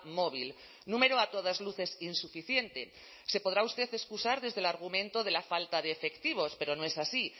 móvil número a todas luces insuficiente se podrá usted excusar desde el argumento de la falta de efectivos pero no es así